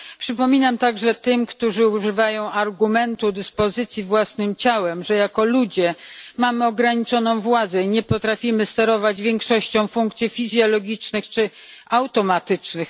Przypominam także tym, którzy używają argumentu dyspozycji własnym ciałem, że jako ludzie mamy ograniczoną władzę i nie potrafimy sterować większością funkcji fizjologicznych czy automatycznych.